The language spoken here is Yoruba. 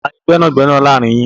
Tani gbẹ́nàgbẹnà láàrin yín?